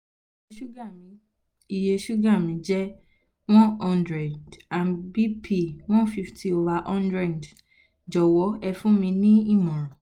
iye sùúgà mi iye sùúgà mi jẹ́ one hundred and bp: one fifty over hundred jọ̀wọ́ ẹ fún mi ní ìmọ̀ràn